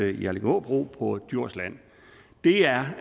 i allingåbro på djursland det er